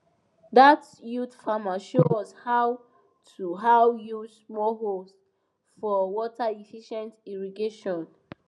dat youth farmer show us how to how to use small hose for waterefficient irrigation